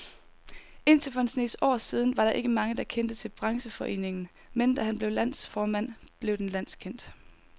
Indtil for en snes år siden var der ikke mange, der kendte til brancheforeningen, men da han blev landsformand, blev den landskendt.